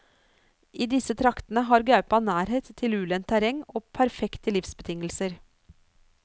I disse traktene har gaupa nærhet til ulendt terreng og perfekte livsbetingelser.